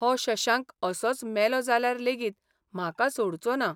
हो शशांक असोच मेलो जाल्यार लेगीत म्हाका सोडचो ना.